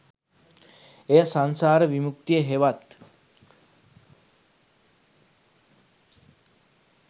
එය සංසාර විමුක්තිය හෙවත්,